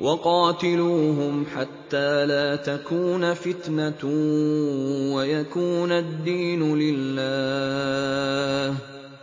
وَقَاتِلُوهُمْ حَتَّىٰ لَا تَكُونَ فِتْنَةٌ وَيَكُونَ الدِّينُ لِلَّهِ ۖ